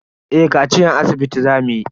Eh kaciyan asibiti za mu yi.